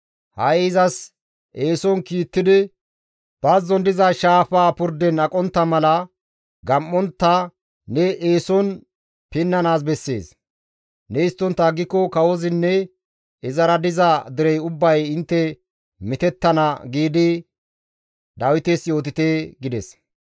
Ha7i izas eeson kiittidi, ‹Bazzon diza shaafa purden aqontta mala, gam7ontta ne eeson pinnanaas bessees; ne histtontta aggiko kawozinne izara diza derey ubbay intte mitettana› giidi Dawites yootite» gides.